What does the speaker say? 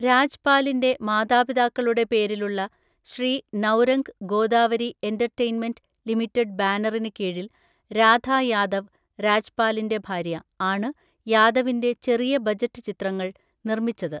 രാജ്പാലിന്റെ മാതാപിതാക്കളുടെ പേരിലുള്ള Shri Naurang Godavari entertainment limited ബാനറിന് കീഴിൽ രാധാ യാദവ് (രാജ്പാലിന്റെ ഭാര്യ) ആണ് യാദവിന്റെ ചെറിയ ബജറ്റ് ചിത്രങ്ങൾ നിർമ്മിച്ചത്.